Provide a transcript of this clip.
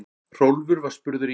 Hrólfur var spurður í